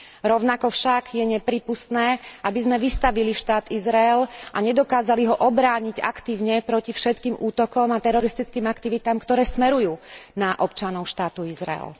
Rovnako však je neprípustné, aby sme vystavili štát Izrael a nedokázali ho obrániť aktívne proti všetkým útokom a teroristickým aktivitám, ktoré smerujú na občanov štátu Izrael.